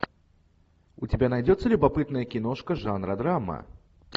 у тебя найдется любопытная киношка жанра драма